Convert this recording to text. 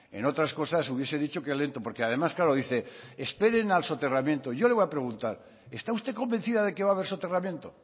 en otras cosas hubiese dicho que lento porque además claro dice esperen al soterramiento yo le voy a preguntar está usted convencida de que va a haber soterramiento